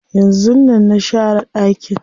Yanzun nan na share ɗakin.